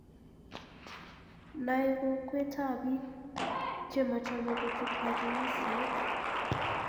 Nae kokwet ab biik chemochome kochut katunisiet.